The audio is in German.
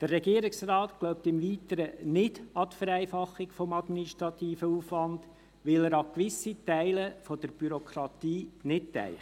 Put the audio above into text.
Der Regierungsrat glaubt im Weiteren nicht an die Vereinfachung des administrativen Aufwands, weil er an gewisse Teile der Bürokratie nicht denkt.